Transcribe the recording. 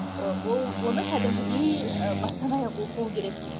ы ол оны кәдімгідей ы бастан аяқ оқу керек